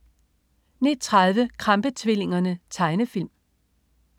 09.30 Krampe-tvillingerne. Tegnefilm